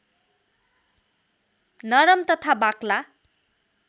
नरम तथा बाक्ला